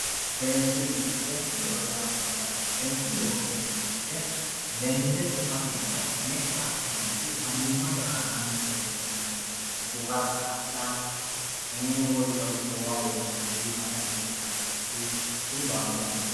See'nsille, seensileho yaa mayate seensilleho yineemo woyite lende xumate yine assinaniti manimate aananni qo'lle lexinaniti, qura dadha wole qole goowaho wodhinaniri maccatte wodhinaniri kuri baaluniti